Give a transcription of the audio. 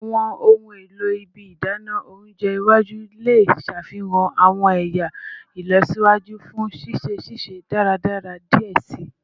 Awọn ohun elo ibi idana ounjẹ iwaju le ṣafihan awọn ẹya ilọsiwaju fun sise sise daradara diẹ sii